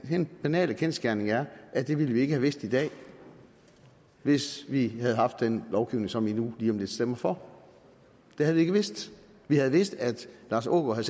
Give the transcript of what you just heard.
den banale kendsgerning er at det ville vi ikke have vidst i dag hvis vi havde haft den lovgivning som vi nu lige om lidt stemmer for det havde vi ikke vidst vi havde vidst at lars aagaard